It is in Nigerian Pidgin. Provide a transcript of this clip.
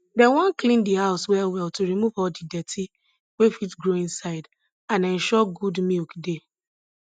dem wan clean di house well well to remove all de dirty wey fit grow inside and ensure good milk dey